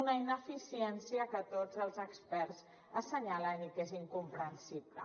una ineficiència que tots els experts assenyalen i que és incomprensible